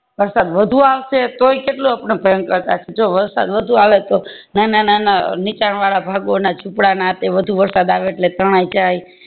વરસાદ વધુ આવશે તોય તે એટલો ભયંકર જો વરસાદ વધુ આવે તો નાના નાના અ નીચાણ વાળા ભાગો ના જુપડા ના આ તે વધુ વરસાદ આવે એટલે તણાય જાય